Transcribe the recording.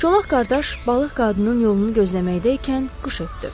Çolaq qardaş balıq qadının yolunu gözləməkdəykən qış ötdü.